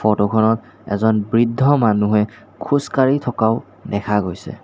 Photo খনত এজন বৃদ্ধ মানুহে খোজ কাঢ়ি থকাও দেখা গৈছে।